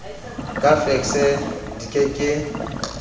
ka fekse di ke ke